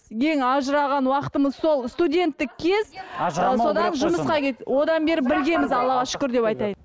ең ажыраған уақытымыз сол студенттік кез ы содан жұмысқа кетті одан бері біргеміз аллаға шүкір деп айтайын